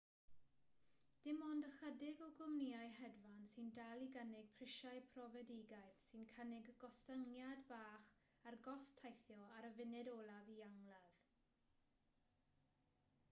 dim ond ychydig o gwmnïau hedfan sy'n dal i gynnig prisiau profedigaeth sy'n cynnig gostyngiad bach ar gost teithio ar y funud olaf i angladd